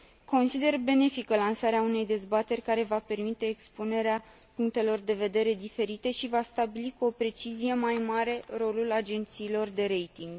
Consider benefică lansarea unei dezbateri care va permite expunerea punctelor de vedere diferite și va stabili cu o precizie mai mare rolul agențiilor de rating.